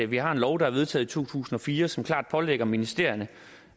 vi har en lov der er vedtaget i to tusind og fire som klart pålægger ministerierne